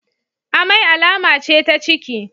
Amai alama ce ta ciki.